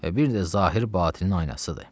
Və bir də zahir batinnin aynasıdır.